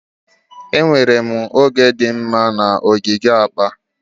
Enwere m oge dị mma na ogige akpa.